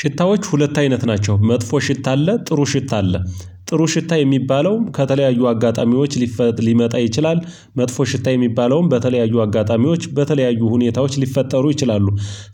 ሽታዎች ሁለት አይነት ናቸው መጥፎ ሽታ አለ ጥሩ ሽታ አለ። ጥሩ ሽታ የሚባለውም ከተለያዩ አጋጣሚዎች ሊፈጥር ሊመጣ ይችላል። መጥፎ ሽታ የሚባለውም በተለያዩ አጋጣሚዎች በተለያዩ ሁኔታዎች ሊፈጠሩ ይችላሉ።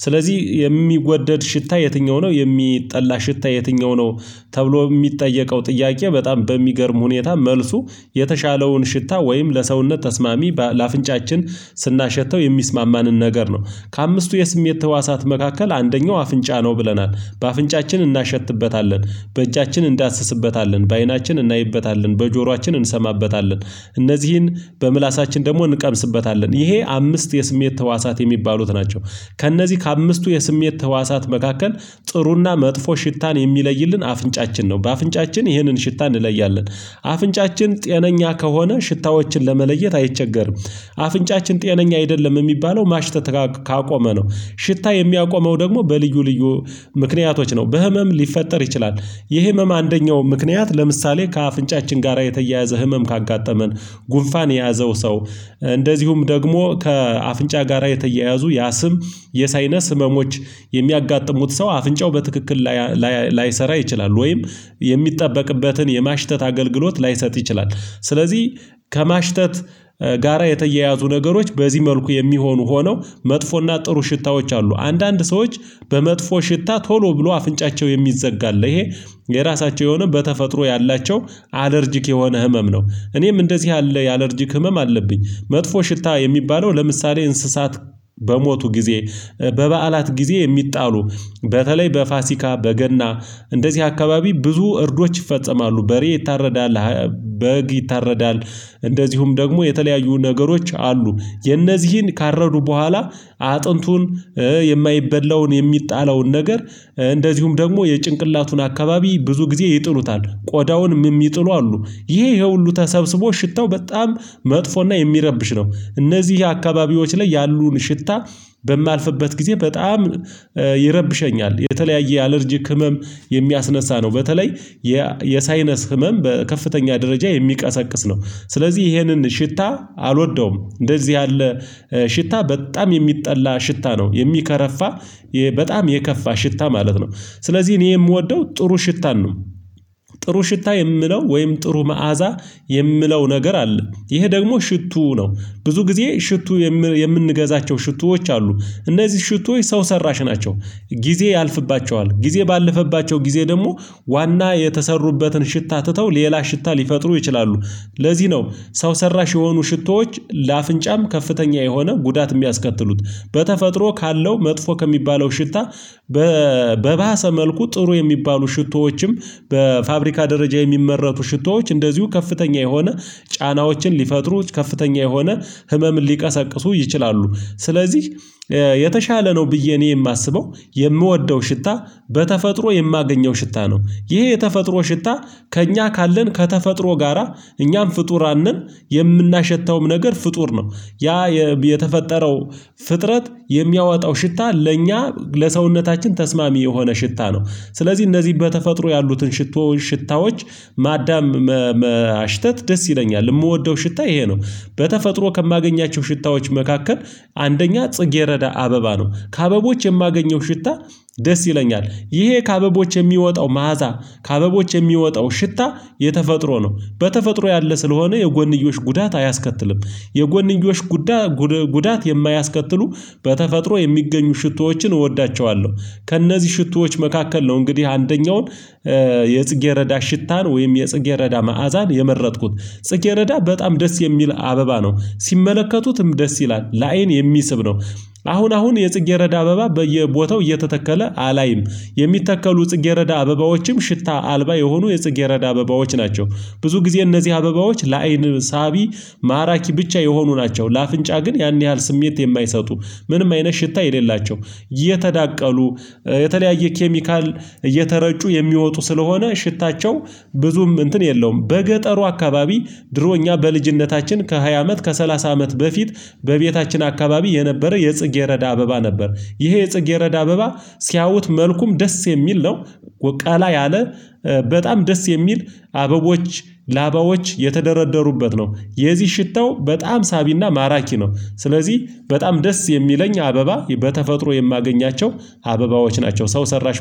ስለዚህ የሚወደድ ሽታ የትኛው ነው የሚጠላ ሽታ የትኛው ነው? ተብሎ የሚጠየቀው ጥያቄ በጣም በሚገርም ሁኔታ መልሱ የተሻለውን ሽታ ወይም ለሰውነት ተስማሚ ለአፍንጫችን ስናሸተው የሚስማማንን ነገር ነው። ከአምስቱ የስሜት ህዋሳት መካከል አንደኛው አፍንጫ ነው ብለናል በአፍንጫችን እናሸትበታለን። በእጃችን እንዳስስበታለን በአይናችን እናይበታለን በጆሯችን እንሰማበታለን እነዚህን በምላሳችን ደግሞ እንቀምስበታለን ይሄ አምስት የስሜት ህዋሳት የሚባሉት ናቸው። ከእነዚህ ከአምስቱ የስሜት ህዋሳት መካከል ጥሩና መጥፎ ሽታን የሚለይልን አፍንጫችን ነው በአፍንጫችን ይህንን ሽታ እንለያለን። አፍንጫችን ጤነኛ ከሆነ ሽታዎችን ለመለየት አይቸገርም። አፍንጫችን ጤነኛ አይደለም የሚባለው ማሽተት ካቆመ ነው። ሽታ የሚያቆመው ደግሞ በልዩ ልዩ ምክንያቶች ነው በህመም ሊፈጠር ይችላል። የህመም አንደኛው ምክንያት ለምሳሌ ከአፍንጫችን ጋራ የተያያዘ ህመም ካጋጠመን። ጉንፋን የያዘው ሰው። እንደዚሁም ደግሞ ከአፍንጫ ጋራ የተያያዙ ያ ስም የሳይነስ ህመሞች። የሚያጋጥሙት ሰው አፍንጫው በትክክል ላይሰራ ይችላል ወይም የሚጠበቅበትን የማሽተት አገልግሎት ላይሰጥ ይችላል። ስለዚህ ከማሽተት ጋራ የተያያዙ ነገሮች በዚህ መልኩ የሚሆኑ ሆነው መጥፎና ጥሩ ሽታዎች አሉ። አንዳንድ ሰዎች በመጥፎ ሽታ ቶሎ ብሎ አፍንጫቸው የሚዘጋ አለ ይሄ የራሳቸው የሆነ በተፈጥሮ ያላቸው አለርጅክ የሆነ ህመም ነው። እኔም እንደዚህ ያለ የአለርጂክ ህመም አለብኝ። መጥፎ ሽታ የሚባለው ለምሳሌ እንስሳት በሞቱ ጊዜ በበዓላት ጊዜ የሚጣሉ በተለይ በፋሲካ በገና እንደዚህ አካባቢ ብዙ እርዶች ይፈጸማሉ በሬ ይታረዳል። በግ ይታረዳል። እንደዚሁም ደግሞ የተለያዩ ነገሮች አሉ የነዚህን ካረዱ በኋላ አጥንቱን የማይበላውን የሚጣለውን ነገር እንደዚሁም ደግሞ የጭንቅላቱን አካባቢ ብዙ ጊዜ ይጥሉታል ቆዳውንም የሚጥሉ አሉ። ይሄ ይሄ ሁሉ ተሰብስቦ ሽታው በጣም መጥፎና የሚረብሽ ነው። እነዚህ አካባቢዎች ላይ ያሉን ሽታ በማልፍበት ጊዜ በጣም ይረብሸኛል። የተለያየ አለርጂክ ህመም የሚያስነሳ ነው በተለይ የሳይነስ ህመም በከፍተኛ ደረጃ የሚቀሰቅስ ነው። ስለዚህ ይሄንን ሽታ አልወደውም እንደዚህ ያለ ሽታ በጣም የሚጠላ ሽታ ነው። የሚከረፋ በጣም የከፋ ሽታ ማለት ነው። ስለዚህ እኔ የምወደው ጥሩ ሽታን ነው። ጥሩ ሽታ የምለው ወይም ጥሩ መዓዛ የምለው ነገር አለ። ይሄ ደግሞ ሽቱ ነው። ብዙ ጊዜ ሽቱ የምንገዛቸው ሽቱዎች አሉ። እነዚህ ሽቶይ ሰው ሰራሽ ናቸው። ጊዜ ያልፍባቸዋል ጊዜ ባለፈባቸው ጊዜ ደግሞ ዋና የተሰሩበትን ሽታ ትተው ሌላ ሽታ ሊፈጥሩ ይችላሉ። ለዚህ ነው። ሰው ሰራሽ የሆኑ ሽቶዎች ለአፍንጫም ከፍተኛ የሆነ ጉዳት የሚያስከትሉት። በተፈጥሮ ካለው መጥፎ ከሚባለው ሽታ በባሰ መልኩ ጥሩ የሚባሉ ሽቶዎችም በፋብሪካ ደረጃ የሚመረቱ ሽቶዎች እንደዚሁ ከፍተኛ የሆነ ጫናዎችን ሊፈጥሩ ከፍተኛ የሆነ ህመም ሊቀሰቅሱ ይችላሉ። ስለዚህ የተሻለ ነው ብዬ እኔ የማስበው የምወደው ሽታ በተፈጥሮ የማገኘው ሽታ ነው። ይሄ የተፈጥሮ ሽታ ከእኛ ካለን ከተፈጥሮ ጋራ እኛም ፍጡራን ነን። የምናሸታውም ነገር ፍጡር ነው። ያ የተፈጠረው ፍጥረት የሚያወጣው ሽታ ለእኛ ለሰውነታችን ተስማሚ የሆነ ሽታ ነው። ስለዚህ እነዚህ በተፈጥሮ ያሉትን ሽታዎች ማዳም ማሽተት ደስ ይለኛል የምወደው ሽታ ይሄ ነው። በተፈጥሮ ከማገኛቸው ሽታዎች መካከል አንደኛ ጽጌረዳ አበባ ነው ከአበቦች የማገኘው ሽታ ደስ ይለኛል። ይሄ ከአበቦች የሚወጣው መዓዛ ከአበቦች የሚወጣው ሽታ የተፈጥሮ ነው በተፈጥሮ ያለ ስለሆነ የጎንዮሽ ጉዳት አያስከትልም። የጎንዮሽ ጉዳት የማያስከትሉ በተፈጥሮ የሚገኙ ሽቶዎችን እወዳቸዋለሁ። ከእነዚህ ሽቶዎች መካከል ነው እንግዲህ አንደኛውን የጽጌረዳ ሽታን ወይም የጽጌረዳ መዓዛን የመረጥኩት። ጽጌረዳ በጣም ደስ የሚል አበባ ነው። ሲመለከቱትም ደስ ይላል ለአይን የሚስብ ነው። አሁን አሁን የጽጌረዳ አበባ በየቦታው እየተተከለ አላይም። የሚተከሉ ጽጌረዳ አበባዎችም ሽታ አልባ የሆኑ የጽጌረዳ አበባዎች ናቸው። ብዙ ጊዜ እነዚህ አበባዎች ለአይን ሳቢ ማራኪ ብቻ የሆኑ ናቸው ለአፍንጫ ግን ያን ያህል ስሜት የማይሰጡ። ምንም አይነት ሽታ የሌላቸው የተዳቀሉ የተለያየ ኬሚካል እየተረጩ የሚወጡ ስለሆነ ሽታቸው ብዙም እንትን የለውም በገጠሩ አካባቢ። ድሮኛ በልጅነታችን ከሃያ አመት ከሰላሳ አመት በፊት በቤታችን አካባቢ የነበረ የጽጌረዳ አበባ ነበር። ይሄ የጽጌረዳ አበባ ሲያውት መልኩም ደስ የሚል ነው። ቀላ ያለ በጣም ደስ የሚል አበቦች ላባዎች የተደረደሩበት ነው። የዚህ ሽታው በጣም ሳቢና ማራኪ ነው። ስለዚህ በጣም ደስ የሚለኝ አበባ በተፈጥሮ የማገኛቸው አበባዎች ናቸው ሰው ሰራሽ